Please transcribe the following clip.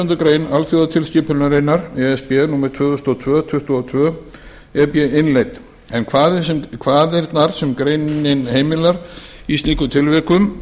grein alþjónustutilskipunar e s b númer tvö þúsund og tvö tuttugu og tvö e b innleidd en kvaðirnar sem greinin heimilar í slíkum tilvikum